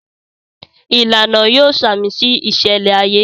Ìlànà yóò samisi iṣẹlẹ ayé